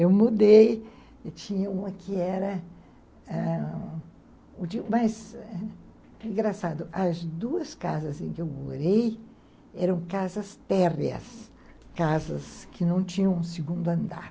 Eu mudei, tinha uma que era... Mas, engraçado, as duas casas em que eu morei eram casas térreas, casas que não tinham um segundo andar.